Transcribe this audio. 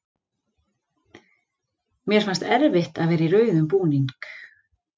Mér fannst erfitt að vera í rauðum búning.